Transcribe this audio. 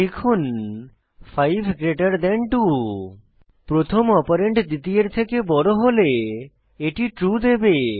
লিখুন 5 গ্রেটের থান 2 প্রথম অপারেন্ড দ্বিতীয়ের থেকে বড় হলে এটি ট্রু দেবে